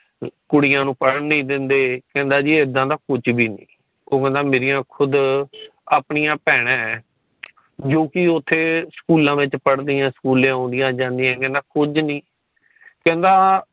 ਕੁੜੀਆਂ ਨੂੰ ਪੜਨ ਨਹੀ ਦਿਂਦੇ ਕਹਿੰਦਾ ਜੀ ਇਦਾ ਦਾ ਕੁੱਜ ਵੀ ਨਹੀਂ ਉਹ ਕੇਂਦਾ ਕਿ ਮੇਰੀਆਂ ਖੁੱਦ ਆਪਣੀਆਂ ਭੈਣਾਂ ਏ ਜੋ ਕਿ ਉਥੇ ਸਕੂਲਾਂ ਵਿੱਚ ਪੜਦਿਆਂ ਸਕੂਲੇ ਆਦਿਆਂ ਜਾਂਦੀਆਂ ਤਾ ਕਿਦਾਂ ਕੁੱਜ ਵੀ ਨਹੀਂ ਕਿਦਾਂ